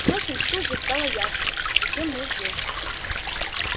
впрочем тут же стало ясно зачем мы здесь